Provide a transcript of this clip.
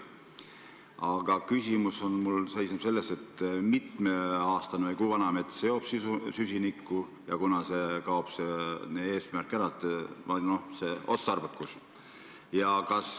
Aga küsimus seisneb selles, et kui mitme aastane või kui vana mets seob süsinikku ja kunas see eesmärk või see otstarbekus ära kaob.